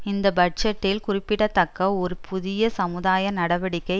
இந்த பட்ஜெட்டில் குறிப்பிடத்தக்க ஒரு புதிய சமுதாய நடவடிக்கை